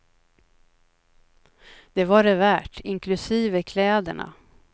Det var det värt, inklusive kläderna.